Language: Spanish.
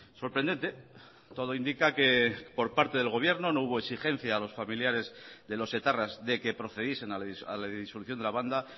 sorprendente todo indica que por parte del gobierno no hubo exigencia a los familiares de los etarras de que procediesen a la disolución de la banda